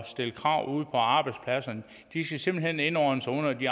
stille krav ude på arbejdspladserne de skal simpelt hen indordne sig under de